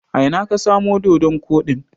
A ina ka samo doɗon koɗin?